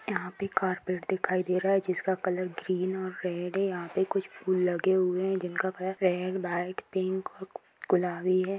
यहाँ पे कारपेट दिखाई दे रहा है जिसका कलर ग्रीन और रेड है | यहाँ पे कुछ फ़ूल लगे हुए हैं जिनका कलर रेड वाइट पिंक और गुलाबी है |